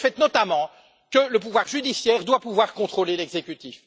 C'est le fait, notamment, que le pouvoir judiciaire doit pouvoir contrôler l'exécutif.